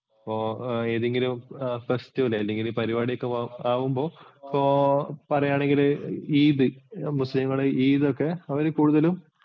ഇപ്പോൾ ഏതെങ്കിലും festival അല്ലെങ്കിൽ ഈ പരിപാടിയൊക്കെ ആകുമ്പോൾ ഇപ്പോൾ പറയാണെങ്കില് Eid മുസ്ലിങ്ങളുടെ Eid ഒക്കെ അവർ കൂടുതലും